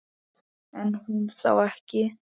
Er hún þá ekki?